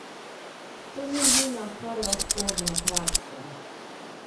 To ni njuna prva sporna praksa.